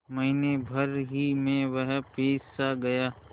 महीने भर ही में वह पिससा गया